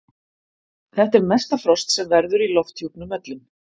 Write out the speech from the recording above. þetta er mesta frost sem verður í lofthjúpnum öllum